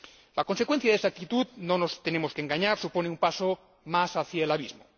La consecuencia de esa actitud no nos tenemos que engañar supone un paso más hacia el abismo.